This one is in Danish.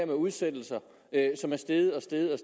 med udsættelser som er steget og steget og